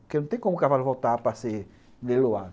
Porque não tem como o cavalo voltar para ser leiloado.